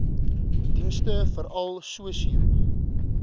dienste veral sosio